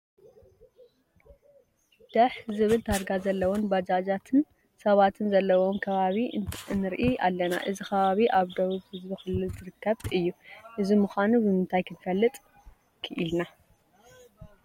ደሕ ዝብል ታርጋ ዘለወን ባጃጅን ሰባትን ዘለውዎ ከባቢ ንርኢ ኣለና፡፡ እዚ ከባቢ ኣብ ደቡብ ህዝቢ ክልል ዝርከብ እዩ፡፡ እዚ ምዃኑ ብምንታይ ክንፈልጥ ክኢልና?